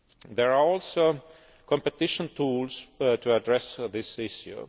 There are also competition tools to address this issue.